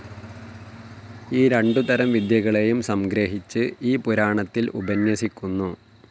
ഈ രണ്ടുതരം വിദ്യകളെയും സംഗ്രഹിച്ച് ഈ പുരാണത്തിൽ ഉപന്യസിക്കുന്നു.